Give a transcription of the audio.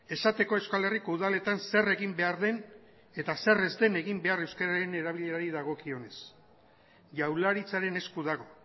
esateko euskal herriko udaletan zer egin behar den eta zer ez den egin behar euskararen erabilerari dagokionez jaurlaritzaren esku dago